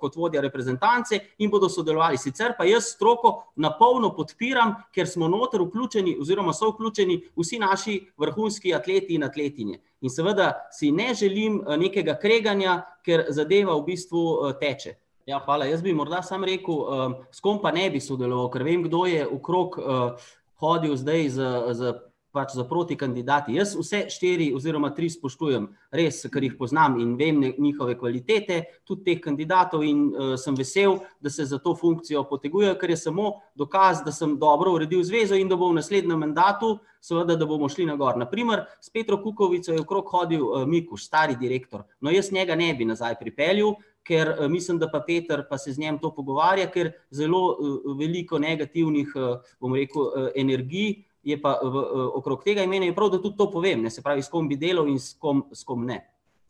kot vodja reprezentance, in bodo sodelovali. Sicer pa jaz stroko na polno podpiram, ker smo noter vključeni oziroma so vključeni vsi naši vrhunski atleti in atletinje. In seveda si ne želim, nekega kreganja, ker zadeva v bistvu, teče. Ja, hvala, jaz bi morda samo rekel, s kom pa ne bi sodeloval. Ker vem, kdo je okrog, hodil zdaj z, z pač s protikandidati. Jaz vse štiri oziroma tri spoštujem. Res, kar jih poznam in vem njihove kvalitete, tudi teh kandidatov, in, sem vesel, da se za to funkcijo potegujejo, kar je samo dokaz, da sem dobro uredil zvezo in da bom v naslednjem mandatu, svda, da bomo šli na gor, na primer, s Petrom Kukovico je okrog hodil, Mikuš, stari direktor. jaz njega ne bi nazaj pripeljal, ker, mislim, da pa Peter, pa se z njim to pogovarja, ker zelo veliko negativnih, bom rekel, energij, je pa v, okrog tega, in meni je tudi prav, da to povem, se pravi, s kom bi delal in s kom, s kom ne.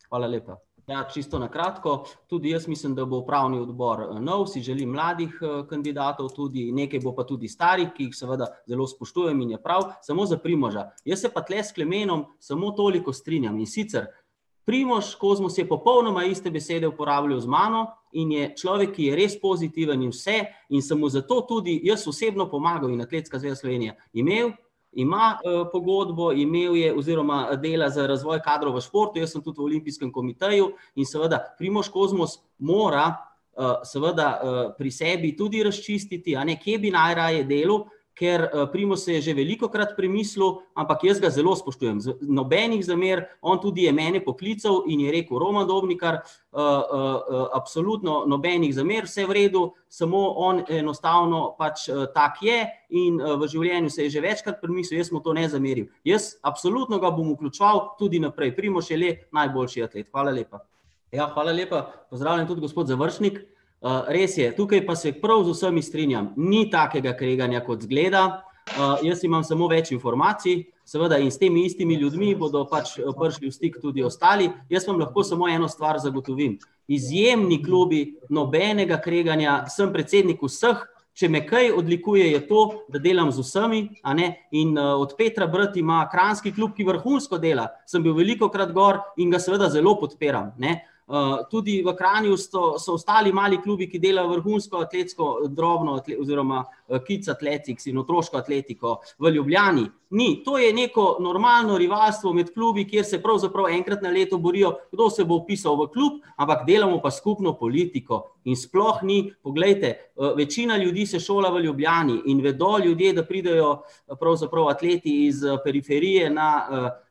Hvala lepa. Ja, čisto na kratko, tudi jaz mislim, da bo upravni odbor nov, si želim mladih kandidatov tudi, nekaj bo pa tudi starih, ki jih seveda zelo spoštujem, in je prav, samo za Primoža. Jaz se pa tule s Klemenom samo toliko strinjam, in sicer, Primož Kozmus je popolnoma iste besede uporabljal z mano in je človek, ki je res pozitiven in vse, in sem mu zato tudi jaz osebno pomagal in Atletska zveza Slovenije. Imeli, ima, pogodbo, imel je oziroma dela za razvoj kadra v športu, jaz sem tudi v olimpijskem komiteju, in seveda, Primož Kozmus mora, seveda, pri sebi tudi razčistiti, a ne, kje bi najraje delu, ker, Primož se je že velikokrat premislil, ampak jaz ga zelo spoštujem. nobenih zamer, on tudi je mene poklical in je rekel, Roman Dobnikar, absolutno nobenih zamer, vse v redu, samo on enostavno pač tak je, in, v življenju se je že večkrat premislil, jaz mu to ne zamerim. Jaz absolutno ga bom vključeval tudi naprej. Primož je le najboljši atlet. Hvala lepa. Ja, hvala lepa, pozdravljen tudi gospod Završnik, res je, tukaj pa se prav z vsemi strinjam. Ni takega kreganja, kot izgleda, jaz imam samo več informacij, seveda, in s temi istimi ljudmi bodo pač prišli v stik tudi ostali, jaz vam lahko samo eno stvar zagotovim. Izjemni klubi, nobenega kreganja, sem predsednik vseh, če me kaj odlikuje, je to, da delam z vsemi, a ne, in, od Petra brat ima kranjski klub, ki vrhunsko dela. Sem bil velikokrat gor in ga seveda zelo podpiram, ne. tudi v Kranju so, so ostali mali klubi, ki delajo vrhunsko atletsko drobno oziroma, kids athletics in otroško atletiko. V Ljubljani ni, to je neko normalno rivalstvo med klubi, kjer se pravzaprav enkrat na leto borijo, kdo se bo vpisal v klub, ampak delamo pa skupno politiko. In sploh ni, poglejte, večina ljudi se šola v Ljubljani in vedo ljudje, da pridejo pravzaprav atleti iz periferije na,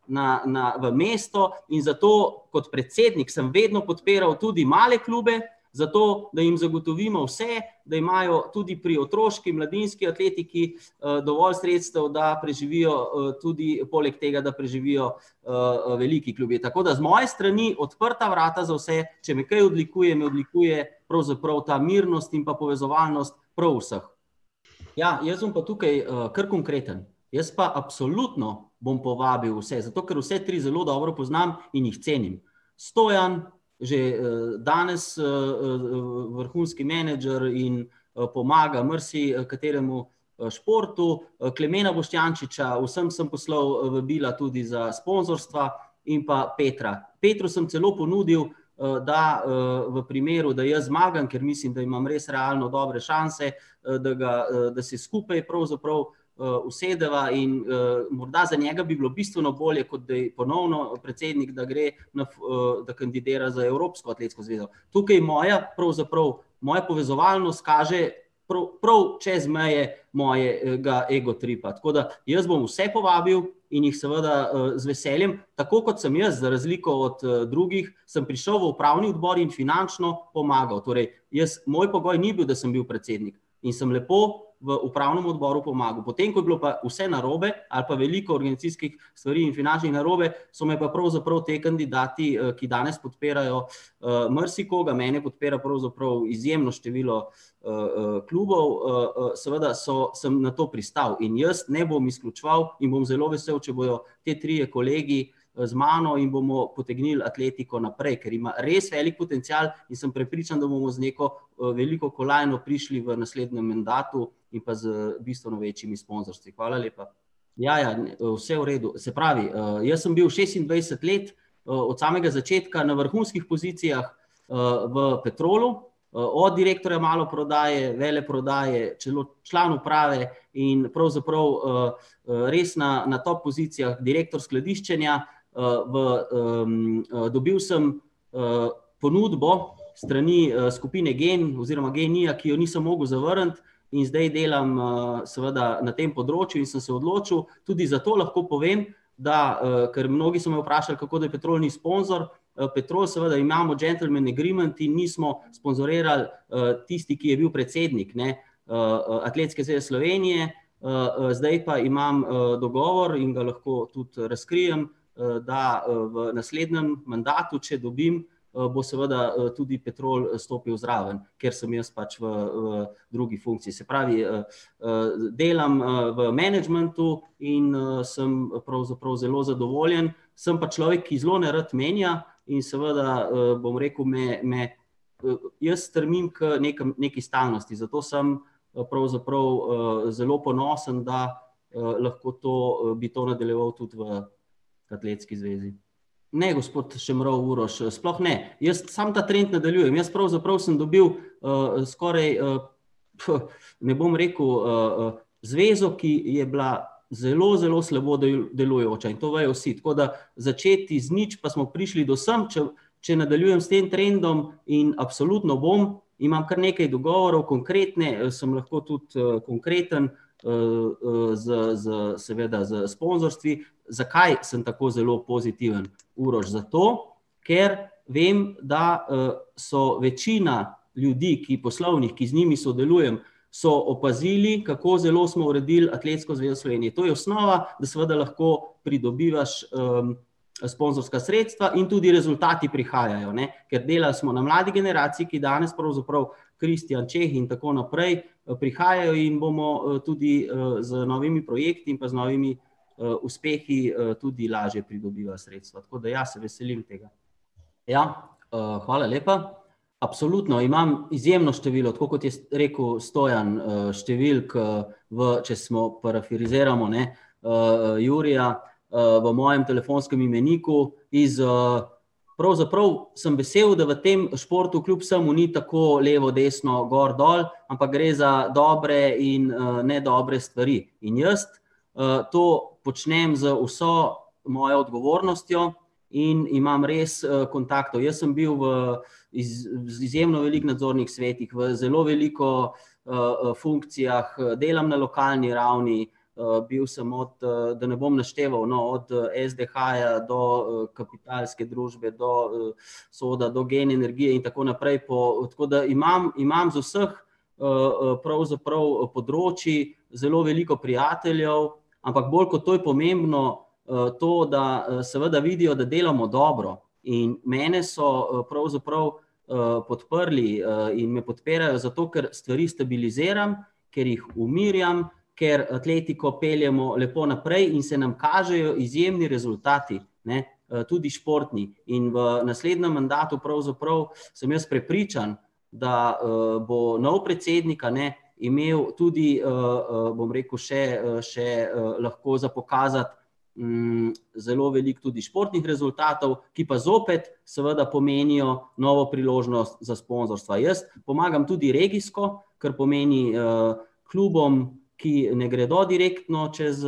na, na, v mesto, in zato kot predsednik sem vedno podpiral tudi male klube, zato, da jim zagotovimo vse, da imajo tudi pri otroški, mladinski atletiki, dovolj sredstev, da preživijo, tudi poleg tega, da preživijo, veliki klubi. Tako da z moje strani odprta vrata za vse, če me kaj odlikuje, me odlikuje pravzaprav ta mirnost in pa povezovalnost prav vseh. Ja, jaz bom pa tukaj, kar konkreten. Jaz pa absolutno bom povabil vse, zato ker vse tri zelo dobro poznam in jih cenim. Stojan že, danes, vrhunski menedžer in, pomaga marsikateremu, športu, Klemena Boštjančiča, vsem sem poslal, vabila tudi za sponzorstva, in pa Petra. Petru sem celo ponudil, da, v primeru, da jaz zmagam, ker mislim, da imam res realno dobre šanse, da ga, da se skupaj pravzaprav, usedeva in, morda za njega bi bilo bistveno bolje, kot da je ponovno predsednik, da gre na da kandidira za Evropsko atletsko zvezo. Tukaj moja, pravzaprav, moja povezovalnost kaže, prav, prav čez meje mojega egotripa. Tako da, jaz bom vse povabil in jih seveda, z veseljem, tako kot sem jaz, za razliko od, drugih, sem prišel v upravni odbor in finančno pomagal. Torej jaz, moj pogoj ni bil, da sem bil predsednik. In sem lepo v upravnem odboru pomagal. Potem ko je bilo pa vse narobe ali pa veliko organizacijskih stvari in finančnih narobe, so me pa pravzaprav ti kandidati, ki danes podpirajo, marsikoga, mene podpira pravzaprav izjemno število klubov, seveda so, sem na to pristal in jaz ne bom izključeval in bom zelo vesel, če bojo ti trije kolegi, z mano in bomo potegnili atletiko naprej, ker ima res velik potencial, in sem prepričan, da bomo z neko, veliko kolajno prišli v naslednjem mandatu in pa z bistveno večjimi sponzorstvi. Hvala lepa. Ja, ja, ne, vse v redu, se pravi, jaz sem bil šestindvajset let, od samega začetka na vrhunskih pozicijah, v Petrolu, od direktorja maloprodaje, veleprodaje, član uprave in pravzaprav, res na, na top pozicijah, direktor skladiščenja, v, dobil sem, ponudbo s strani, skupine Gen oziroma Genija, ki jo nisem mogel zavrniti, in zdaj delam, seveda, na tem področju, in sem se odločil, tudi za to lahko povem, da, ker mnogi so me vprašali, kako da Petrol ni sponzor, Petrol, seveda, imamo gentleman agreement in nismo sponzorirali. tisti, ki je bil predsednik, ne, Atletske zveze Slovenije, zdaj pa imam, dogovor in ga lahko tudi razkrijem, da, v naslednjem mandatu, če dobim, bo seveda, tudi Petrol stopil zraven, ker sem jaz pač v, drugi funkciji. Se pravi, delam, v menedžmentu in, sem pravzaprav zelo zadovoljen. Sem pa človek, ki zelo nerad menja, in seveda, bom rekel, me, me, jaz strmim k nekem, neki stalnosti, zato sem, pravzaprav, zelo ponosen, da, lahko to, bi to nadaljeval tudi v Atletski zvezi. Ne, gospod Šemrov Uroš, sploh ne, jaz samo ta trend nadaljujem, jaz pravzaprav sem dobil, skoraj ne bom rekel, zvezo, ki je bila zelo zelo slabo delujoča. In to vejo vsi, tako da začeti iz nič, pa smo prišli do sem, če, če nadaljujem s tem trendom, in absolutno bom, imam kar nekaj dogovorov, konkretne, sem lahko tudi, konkreten, z, z, seveda, s sponzorstvi. Zakaj sem tako zelo pozitiven, Uroš, zato, ker vem, da, so večina ljudi, ki, poslovnih, ki z njimi sodelujem, so opazili, kako zelo smo uredili Atletsko zvezo Slovenije. To je osnova, da seveda lahko pridobivaš, sponzorska sredstva, in tudi rezultati prihajajo, ne. Ker delali smo na mladi generaciji, ki danes pravzaprav, Kristjan Čeh in tako naprej, prihajajo, in bomo, tudi, z novimi projekti in pa z novimi, uspehi, tudi lažje pridobivali sredstva. Tako da ja, se veselim tega. Ja, hvala lepa. Absolutno imam izjemno število, tako kot je rekel Stojan, številk, v, če smo, parafraziramo, ne, Jurija, v mojem telefonskem imeniku iz, pravzaprav sem vesel, da v tem športu kljub vsemu ni tako levo desno, gor dol, ampak gre za dobre in, nedobre stvari. In jaz, to počnem z vso mojo odgovornostjo, in imam res, kontaktov. Jaz sem bil v z izjemno veliko nadzornih svetih, v zelo veliko, funkcijah, delam na lokalni ravni, bil sem od, da ne bom našteval, no, od SDH-ja do, Kapitalske družbe, do SOD-a do Gen energije in tako naprej po ... Tako da imam, imam z vseh, pravzaprav področij zelo veliko prijateljev, ampak bolj kot to je pomembno, to, da, seveda vidijo, da delamo dobro. In mene so, pravzaprav, podprli, in me podpirajo, zato ker stvari stabiliziram, ker jih umirjam, ker atletiko peljemo lepo naprej in se nam kažejo izjemni rezultati, ne. tudi športni. In v naslednjem mandatu pravzaprav sem jaz prepričan, da, bo novi predsednik, a ne, imel tudi, bom rekel, še, še, lahko za pokazati, zelo veliko tudi športnih rezultatov, ki pa zopet seveda pomenijo novo priložnost za sponzorstva. Jaz pomagam tudi regijsko, kar pomeni, klubom, ki ne gredo direktno čez,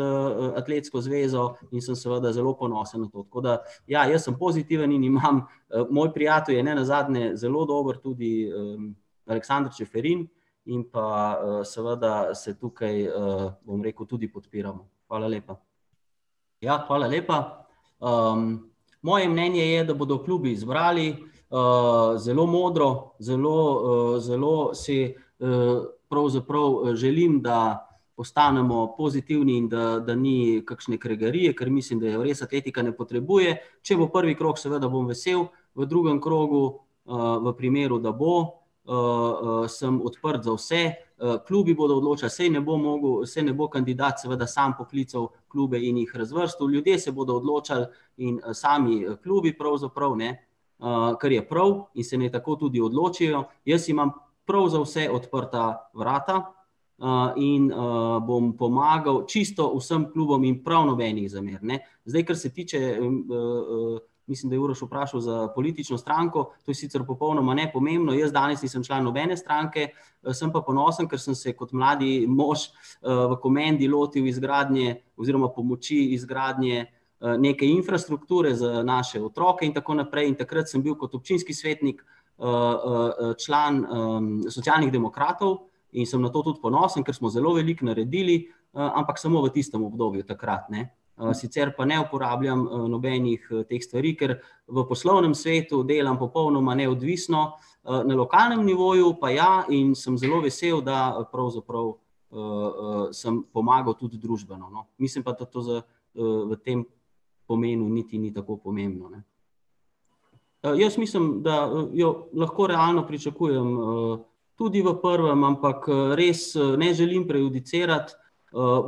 Atletsko zvezo, in sem seveda zelo ponosen na to. Tako da, ja, jaz sem pozitiven in imam ... moj prijatelj je nenazadnje zelo dober tudi, Aleksander Čeferin in pa, seveda, se tukaj, bom rekel, tudi podpiramo. Hvala lepa. Ja, hvala lepa. moje mnenje je, da bodo klubi izbrali, zelo modro, zelo, zelo si, pravzaprav želim, da postanemo pozitivni in da, da ni kakšne kregarije, ker mislim, da je res atletika ne potrebuje, če bo prvi krog, seveda, bom vesel, v drugem krogu, v primeru, da bo, sem odprt za vse, klubi bodo odločali, saj ne bom mogel, saj ne bo kandidat, seveda, sam poklical klube in jih razvrstil, ljudje se bodo odločali in, sami klubi pravzaprav, ne, kar je prav, in se naj tako tudi odločijo. Jaz imam prav za vse odprta vrata, in, bom pomagal čisto vsem klubom in prav nobenih zamer, ne. Zdaj kar se tiče, mislim, da je Uroš vprašal za politično stranko, to je sicer popolnoma nepomembno, jaz danes nisem član nobene stranke, sem pa ponosen, kar sem se kot mladi mož, v Komendi lotili izgradnje oziroma pomoči izgradnje, neke infrastrukture. Za naše otroke in tako naprej, in takrat sem bil kot občinski svetnik, član, Socialnih demokratov, in sem na to tudi ponosen, ker smo zelo veliko naredili, ampak samo v tistem obdobju takrat, ne. sicer pa ne uporabljam, nobenih teh stvari, ker v poslovnem svetu delam popolnoma neodvisno, na lokalnem nivoju pa ja in sem zelo vesel, da pravzaprav, sem pomagal tudi družbeno. No, mislim pa da to za, v tem pomenu niti ni tako pomembno, ne. jaz mislim, da, jo lahko realno pričakujem, tudi v prvem, ampak, res, ne želim prejudicirati,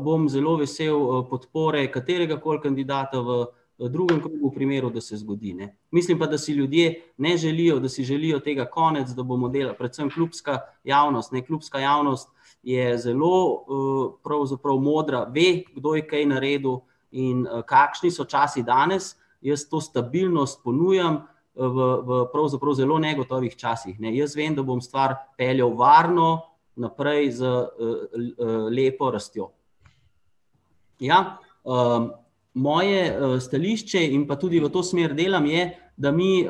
bom zelo vesel, podpore kateregakoli kandidata v, drugem, v primeru, da se zgodi, ne. Mislim pa, da si ljudje ne želijo, da si želijo tega konec, da bomo delali predvsem klubska javnost, ne, klubska javnost je zelo, pravzaprav modra, ve, kdo je kaj naredil, in, kakšni so časi danes. Jaz to stabilnost ponujam, v, v pravzaprav zelo negotovih časih, ne, jaz vem, da bom stvar peljal varno naprej z, lepo rastjo. Ja, moje, stališče in pa tudi v to smer delam, je, da mi,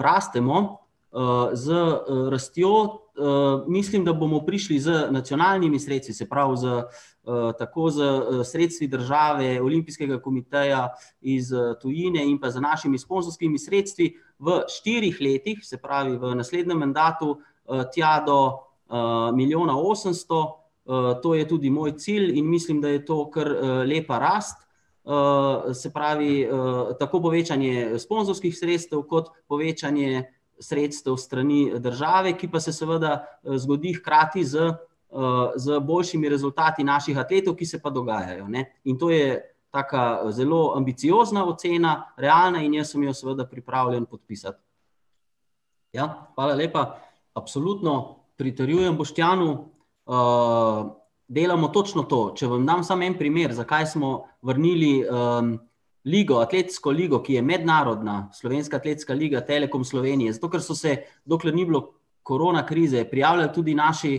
rastemo, z, rastjo, mislim, da bomo prišli z nacionalnimi sredstvi, se pravi z, tako s, sredstvi države, olimpijskega komiteja, iz tujine in pa z našimi sponzorskimi sredstvi v štirih letih, se pravi v naslednjem mandatu, tja do, milijona osemsto. to je tudi moj cilj in mislim, da je to kar, lepa rast, se pravi, tako povečanje sponzorskih sredstev kot povečanje sredstev s strani države, ki pa se seveda, zgodi hkrati z, z boljšimi rezultati naših atletov, ki se pa dogajajo, ne. In to je taka, zelo ambiciozna ocena, realna, in jaz sem jo seveda pripravljen podpisati. Ja, hvala lepa. Absolutno pritrjujem Boštjanu, delamo točno to, če vam dam samo en primer, zakaj smo vrnili, ligo, atletsko ligo, ki je mednarodna, Slovenska atletska liga Telekom Slovenije, zato, ker so se, dokler ni bilo korona krize, prijavljali tudi naši,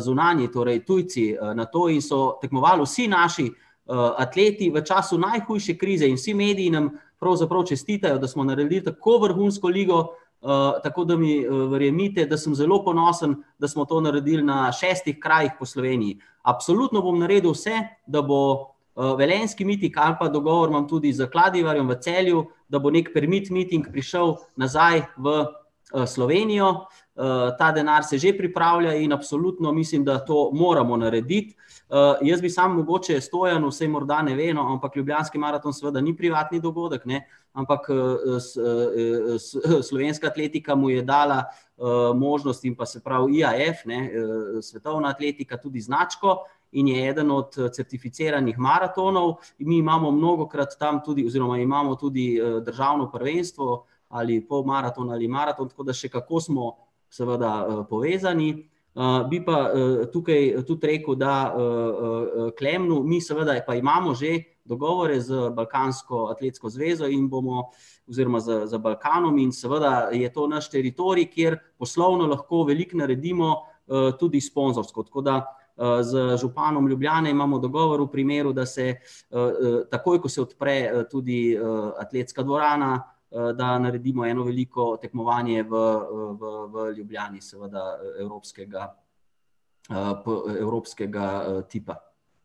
zunanji, torej tujci, na to in so tekmovali vsi naši, atleti v času najhujše krize in vsi mediji nam pravzaprav čestitajo, da smo naredili tako vrhunsko ligo, tako da mi, verjemite, da sem zelo ponosen, da smo to naredili na šestih krajih po Sloveniji. Absolutno bom naredil vse, da bo, velenjski miting ali pa dogovorno tudi s Kladivarjem v Celju, da bo neki permit meeting prišel nazaj v, Slovenijo. ta denar se že pripravlja in absolutno mislim, da to moramo narediti. jaz bi sam mogoče Stojanu, saj morda ne ve, no, ampak Ljubljanski maraton seveda ni privatni dogodek, ne, ampak, s, slovenska atletika mu je dala, možnost in pa se pravi IAEF, ne, svetovna atletika, tudi značko, in je eden od certificiranih maratonov. Mi imamo mnogokrat tam tudi oziroma imamo tudi, državno prvenstvo ali polmaraton ali maraton, tako da še kako smo, seveda, povezani, bi pa, tukaj tudi rekel, da, Klemnu, mi seveda pa imamo že dogovore z Balkansko atletsko zvezo in bomo, oziroma z, z Balkanom, in seveda je to naš teritorij, kjer poslovno lahko veliko naredimo, tudi sponzorsko. Tako da, z županom Ljubljane imamo dogovor v primeru, da se, takoj, ko se odpre, tudi, atletska dvorana, da naredimo eno veliko tekmovanje v, v, v Ljubljani, seveda, evropskega, evropskega, tipa.